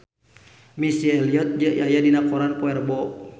Missy Elliott aya dina koran poe Rebo